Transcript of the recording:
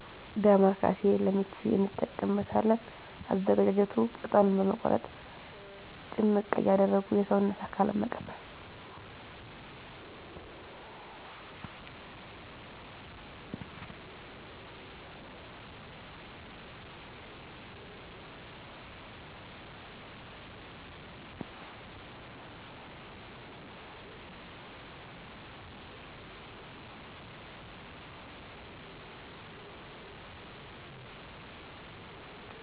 ዳማከሴ ለምች እንጠቀምበታለን አዘገጃጀቱ ቅጠሉን በመቁረጥ ጭምቅ እያደረጉ የሰውነት አካልን መቀባት